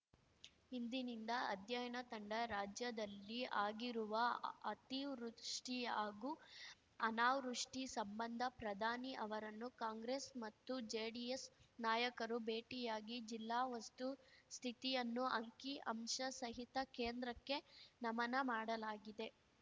ಇಂದಿನಿಂದ ಅಧ್ಯಯನ ತಂಡ ರಾಜ್ಯದಲ್ಲಿ ಆಗಿರುವ ಅತಿವೃಷ್ಟಿ ಹಾಗೂ ಅನಾವೃಷ್ಟಿ ಸಂಬಂಧ ಪ್ರಧಾನಿ ಅವರನ್ನು ಕಾಂಗ್ರೆಸ್‌ ಮತ್ತು ಜೆಡಿಎಸ್‌ ನಾಯಕರು ಭೇಟಿಯಾಗಿ ಜಿಲ್ಲಾ ವಸ್ತು ಸ್ಥಿತಿಯನ್ನು ಅಂಕಿ ಅಂಶ ಸಹಿತ ಕೇಂದ್ರಕ್ಕೆ ನಮನ ಮಾಡಲಾಗಿದೆ